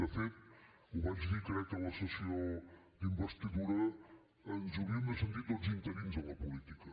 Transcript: de fet ho vaig dir crec en la sessió d’investidura ens hauríem de sentir tots interins en la política